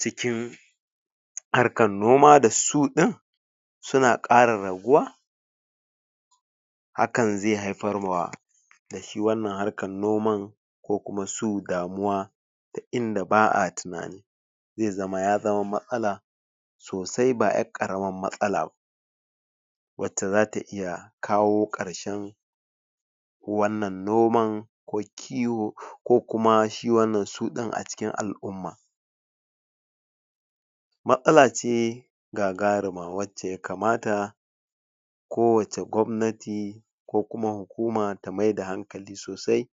cikin harkan noma da su din suna kara raguwa hakan ze haifar ma dashi wannan harkan noman wasu damuwa ta inda ba'a tunani ze zama yazama matsala sosai ba yar karamar matsala ba wacce zata iya kawo karshen wannan noman ko kiwo kuma shi wannan su din acikin al-umma matsala ce gagarima wacce ya kamata ko wace gobnati ko kuma hukuma ta maida hankali sosai